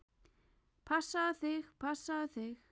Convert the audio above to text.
Passaðu þig, passaðu þig!